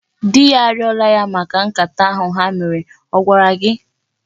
Di ya arịọla ya maka nkata ahụ ha mere. Ọ gwara gị?